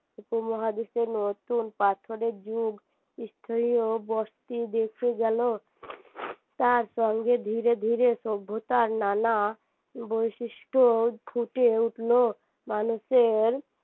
উপমহাদেশে নতুন পাথরের যুগ ও দেখে গেল তার সঙ্গে ধীরে ধীরে সভ্যতার নানা বৈশিষ্ট্য ফুটে উঠল মানুষের